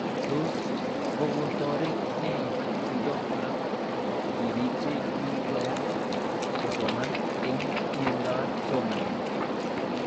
Tos kokotoret nee chutet ab tipik che kikoyan kosoman eng' miendop somanet